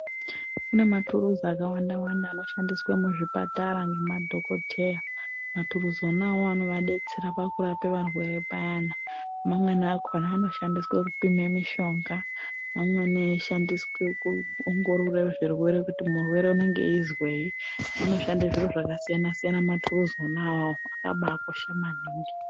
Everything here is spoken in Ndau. Kune maturuzi akawanda wanda anoshandiswe muzvipatara ngemadhokodheya, maturuzi ona awawo anovadetsera pakurapa varwere payani mamweni akona anoshandiswe kupime mishonga mamweni eishandiswa kuongorore zvirwere kuti murwere unenge eizwei anoshande zviro zvakasiyana soyana maturuzi ona iwawo akabakosha maningi.